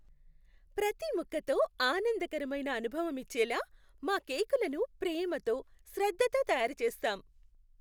ప్రతి ముక్కతో ఆనందకరమైన అనుభవం ఇచ్చేలా, మా కేకులను ప్రేమతో, శ్రద్ధతో తయారు చేస్తాం.